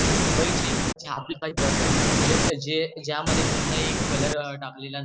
आणि मुंबई चे ज्यामध्ये कोणताही कलर टाकलेला नसतो